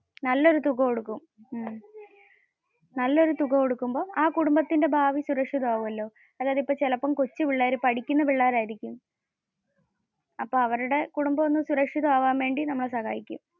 നല്ല ഒരു തുക കൊടുക്കും. നല്ല ഒരു തുക കൊടുക്കുമ്പോ ആ കുടുംബത്തിന്റെ ഭാവി സുരക്ഷിതം ആകുമല്ലോ. അതായത് ഇപ്പോ ചിലപ്പോ കൊച്ച പിള്ളേർ പഠിക്കുന്ന പിള്ളേർ ആയിരിക്കും. അപ്പോ അവരുടെ കുടുംബം ഒന്ന് സുരക്ഷിതം അവൻ വേണ്ടി നമ്മൾ സഹായിക്കും.